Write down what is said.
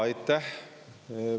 Aitäh!